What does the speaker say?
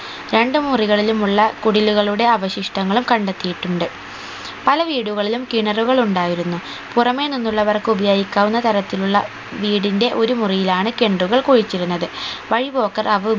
രണ്ട് മുറികളിലും ഉള്ള കുടിലുകളുടെ അവശിഷ്ടങ്ങളും കണ്ടെത്തിയിട്ടുണ്ട് പലവീടുകളിലും കിണറുകൾ ഉണ്ടായിരുന്നു പുറമെ നിന്നുള്ളവർക്ക് ഉപയോഗിക്കാവുന്ന തരത്തിലുള്ള വീടിന്റെ ഒരു മുറിയിലാണ് കിണറുകൾ കുഴിച്ചിരുന്നത് വഴി പോക്കര് അവ